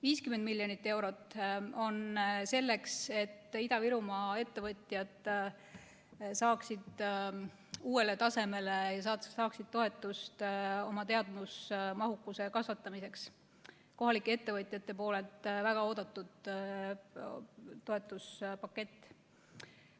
50 miljonit eurot on selleks, et Ida-Virumaa ettevõtjad saaksid uuele tasemele ja saaksid toetust oma teadusmahukuse kasvatamiseks, see on kohalike ettevõtjate seas väga oodatud toetuspakett.